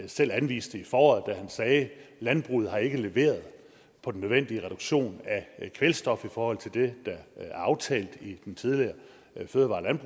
selv anviste i foråret da han sagde landbruget har ikke leveret på den nødvendige reduktion af kvælstof i forhold til det der er aftalt med i den tidligere fødevare